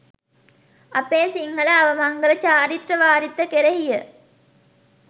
අපේ සිංහල අවමංගල චාරිත්‍ර වාරිත්‍ර කෙරෙහි ය.